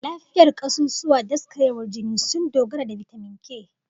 Lafiyar kasusuwa da daskarewar jini sun dogara da bitamin K.